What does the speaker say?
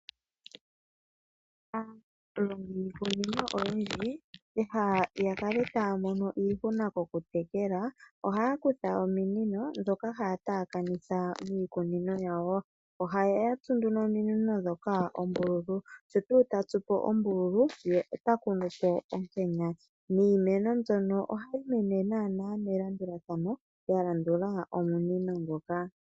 Aalongi yiikunino oyindji, pehala lyokukala taya mono iihuna kokutekela, ohaya kutha ominino ndhoka hjaya taakanitha miikunino yawo. Ohaya tsu nduno ominino oombululu, sho tuu ta tsu po ombululu ye ota kunu po ombuto niimeno mbyono ohayi mene naanaa melandulathano ya landula omunino ngoka.